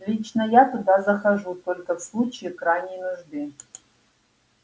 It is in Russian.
лично я туда захожу только в случае крайней нужды